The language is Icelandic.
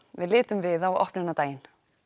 við litum við á opnunardaginn